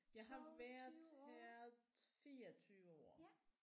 Jeg har været her 24 år